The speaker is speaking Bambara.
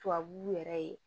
Tubabu yɛrɛ ye